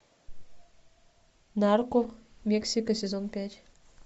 нарко мексика сезон пять